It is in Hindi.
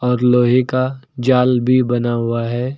और लोहे का जाल भी बना हुआ है।